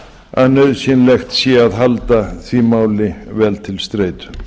að nauðsynlegt sé að halda því máli vel til streitu